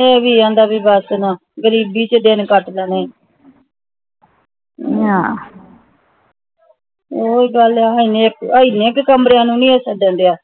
ਇਹ ਭੀ ਇੰਦਾ ਭੀ ਬਸ ਨਾ ਗ਼ਰੀਬੀ ਚ ਦਿਨ ਕੱਟ ਲੈਣੇ ਆ ਓਹੀ ਗੱਲ ਹਾ ਇਹਨੇ ਕ ਇਹਨੇ ਕ ਕਮਰਿਆਂ ਨੂੰ ਦਇਆ